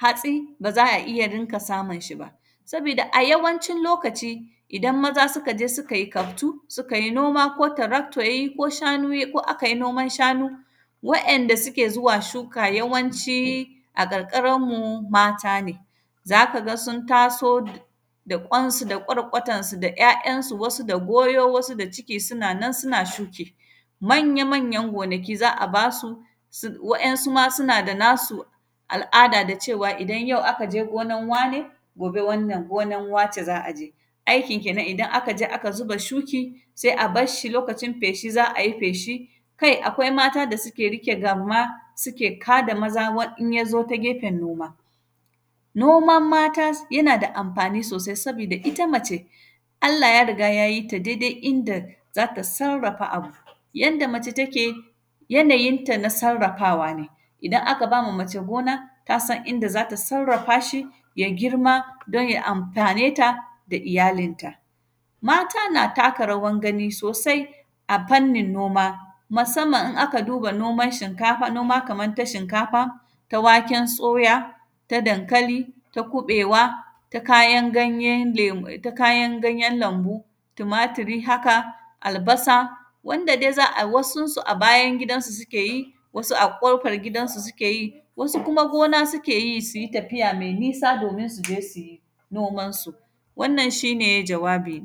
hatsi, ba za a iya rinka samun shi ba. Sabida, a yawancin lokaci, idan maza sika je sikai kaftu. Sukai noma ko tarakto yai ko shanu yai, ko akai noman shanu, wa’yanda suke zuwa shuka yawanci a ƙarƙaranmu, mata ne. Za ka ga sun taso da ƙwansu da ƙwarƙwatansu da ‘ya’yansu, wasu da goyo, wasu da ciki suna nan suna shuki. Manya-manyan gonaki za a ba su, sig; wa’yansu ma suna da nasu al’ada da cewa, idan yau aka je gonan wane, gobe wannan gonan wace za a je. Aikin kenan, idan aka je aka ziba shuki, se a bas shi, lokacin feshi, za a yi feshi. Kai! Akwai mata da sike rike gamma, sike ka da maza wa; in ya zo ta gefen noma. Nomam mata, s; yana da amfani sosai, sabida ita mace, Allah ya riga ya yi ta dede inda za ta sarrafa abu. Yanda mace take, yanayinta na sarrafawa ne, idan aka ba ma mace gona, ta san inda za ta sarrafa shi, ya girma, don ya amfane ta da iyalinta. Mata na taka rawan gani sosai a fannin noma, masamman in aka duba noman shinkafa, noma kaman ta shinkafa, ta waken tsoya, ta dankali, ta kuƃewa, ta kayan ganye, lem; ta kayan ganyen lambu, tumaturi haka, albasa. Wanda de za a; wasunsu a bayan gidansu sike yi, wasu a ƙofar gidansu sike yi. Wasu kuma gona sike yi, si yi tafiya me nisa domin su je si yi nomansu. Wannan, shi ne jawabina.